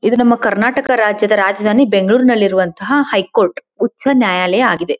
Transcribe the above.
ಇದು ನಮ್ಮ ಕರ್ನಾಟಕ ರಾಜ್ಯದ ರಾಜಧಾನಿ ಬೆಂಗಳೂರನಲ್ಲಿ ಇರುವಂತಹ ಹೈಕೋರ್ಟ್ ಉಚ್ಛ ನ್ಯಾಯಾಲಯ ಆಗಿದೆ.